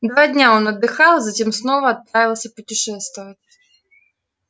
два дня он отдыхал а затем снова отправился путешествовать